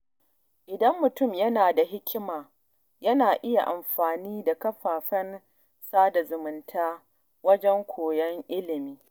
Idan mutum yana da hikima, yana iya amfani da kafafen sada zumunta wajen koyon ilimi.